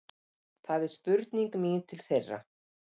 Það er spurning mín til þeirra